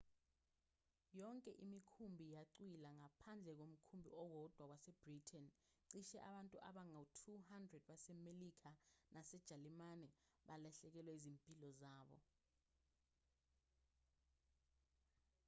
yonke imikhumbi yacwila ngaphandle komkhumbi owodwa wase-britain cishe abantu abangu-200 basemelika nasejalimane balahlekelwa yizimpilo zabo